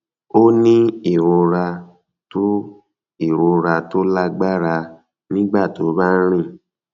ó ń ní ìrora tó ìrora tó lágbára nígbà tó bá ń rìn